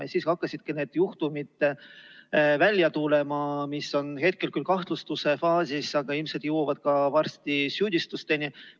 Ja siis hakkasidki välja tulema need juhtumid, mis on hetkel küll kahtlustuse faasis, aga ilmselt jõuavad varsti ka süüdistusteni.